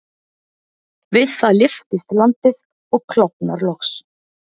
Við það lyftist landið og klofnar loks.